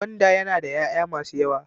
Gwanda yana da yaya masu yawa.